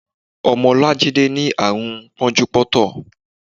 Ọmọ Olajide ni àrùn pọ́njú pọ́ntọ̀.